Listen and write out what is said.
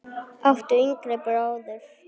áttu yngri bróður?